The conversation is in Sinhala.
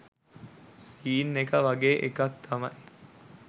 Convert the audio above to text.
සීන් එක වගේ එකක් තමයි